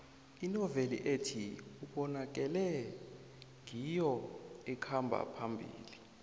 inoveli ethi ubonakele ngiyo ekhamba phambili